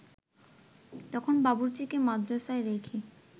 তখন বাবুর্চিকে মাদরাসায় রেখে